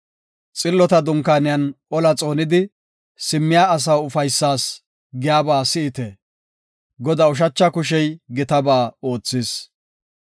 Xillota dunkaaniyan ola xoonidi, simmiya asaa ufaysas giyaba si7ite; Godaa ushacha kushey gitaba oothis.